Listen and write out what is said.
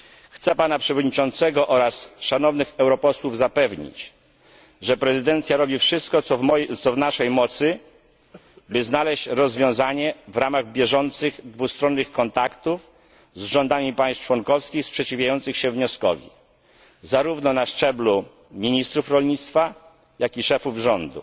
Chcę pana przewodniczącego oraz szanownych europosłów zapewnić, że prezydencja robi wszystko, co w naszej mocy, by znaleźć rozwiązanie w ramach bieżących dwustronnych kontaktów z rządami państw członkowskich sprzeciwiających się wnioskowi zarówno na szczeblu ministrów rolnictwa, jak i szefów rządu.